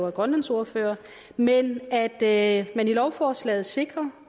er grønlandsordfører nemlig at man i lovforslaget sikrer